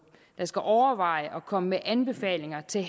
der skal overveje at komme med anbefalinger til